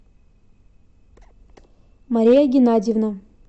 мария геннадьевна